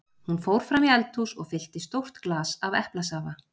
Hún fór fram í eldhús og fyllti stórt glas af eplasafa.